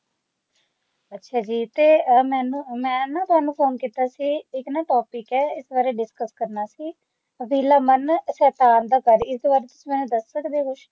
ਅੱਛਾ ਜੀ ਤੇ ਮੇਂ ਨਾ ਤੁਵਾਂਨੂੰ ਫੋਨ ਕਿੱਤਾ ਸੀ ਇਕ ਨਾ topic ਹੈ ਇਸ ਬਾਰੇ discus ਕਰਨਾ ਸੀ ਪਹਿਲਾਂ ਮਨ ਸ਼ੈਤਾਨ ਦਾ ਘਰ ਹੀ ਤੁਹਾਨੂੰ ਦੱਸ ਸਕਦੇ ਹੋ